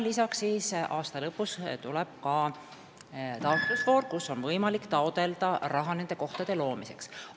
Aasta lõpus tuleb ka taotlusvoor, kus on võimalik taotleda raha nende kohtade loomiseks.